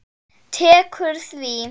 Tekur því?